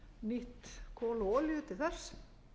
nýtt kol og olíu til þess